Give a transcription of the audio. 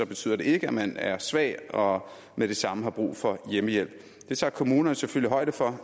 betyder det ikke at man er svag og med det samme har brug for hjemmehjælp det tager kommunerne selvfølgelig højde for